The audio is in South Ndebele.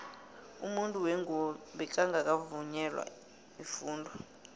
umuntu wengubo bekangaka vungelwa ifundo